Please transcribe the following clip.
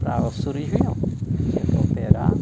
Para o cirurgião, que tinha que operar.